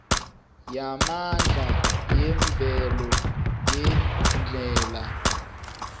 yamandla yemvelo ngendlela